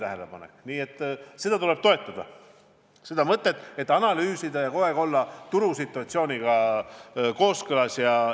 Nii et seda mõtet tuleb toetada, tuleb analüüsida ja kogu aeg olla turusituatsiooniga kooskõlas.